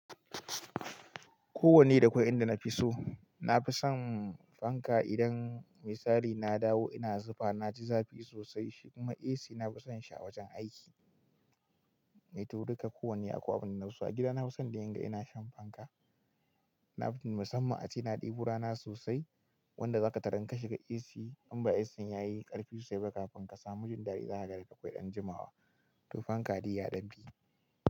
Ko wanne da kwai inda nafiso. Nafison fanka idan me tsari na dawo ina zufa naci zafi sosai shi kuma AC nafison shi a wajan aiki. Eh to duka ko wanne akwai abun da nafi so a gida nafi son dai inga ina shan fanka. Nafi son musamman ace na ɗebo rana sosai wanda zaka tarar in ka shiga AC in ba ACn yayi ƙarfi sosai ba kafin ka samu jin dadi zaka ga akwai dan jimawa. To fanka dai ya dan fi.